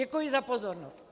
Děkuji za pozornost.